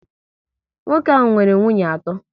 Nwoke ahụ nwere nwunye atọ